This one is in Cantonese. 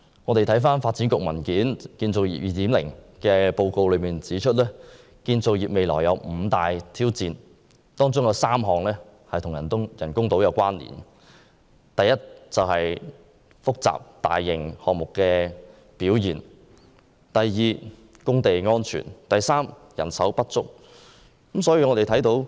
根據發展局一份有關"建造業 2.0" 的報告，建造業未來有五大挑戰，其中3項與人工島有關連。第一，大型項目表現欠佳；第二，工地安全欠佳；及第三，人手不足。